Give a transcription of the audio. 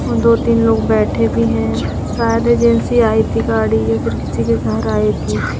और दो तीन लोग बैठे भी हैं शायद एजेंसी आई थी गाड़ी या फिर किसी के घर आई थी।